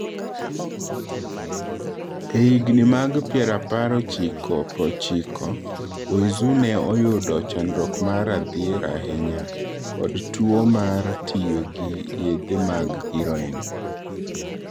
E higini mag pirapar ochiko prochiko , Weizhou ne oyudo chandruok mar dhier ahinya kod tuwo mar tiyo gi yedhe mag heroin.